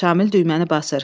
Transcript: Şamil düyməni basır.